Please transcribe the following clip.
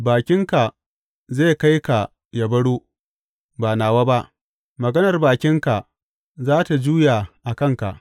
Bakinka zai kai ka yă baro, ba nawa ba; maganar bakinka za tă juya a kanka.